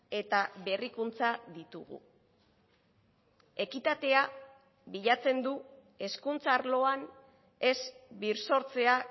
eta berrikuntza ditugu ekitatea bilatzen du hezkuntza arloan ez birsortzea